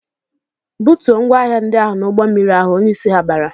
"Butuo ngwaahịa ndị ahụ n'ụgbọmmiri ahụ!" Onyeisi ha bara.